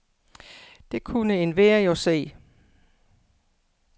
Det kunne enhver jo se.